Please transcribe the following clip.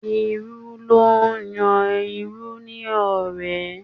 Irú ló ń yan irú ní ọ̀rẹ́